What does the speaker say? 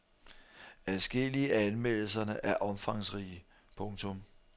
Adskillige af anmeldelserne er omfangsrige. punktum